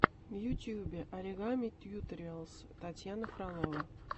в ютубе оригами тьюториалс татьяна фролова